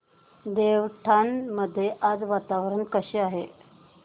देवठाण मध्ये आज वातावरण कसे आहे